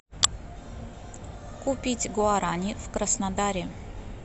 купить гуарани в краснодаре